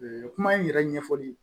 Kuma in yɛrɛ ɲɛfɔli